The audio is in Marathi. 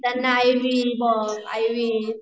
त्यांना आय. व्ही.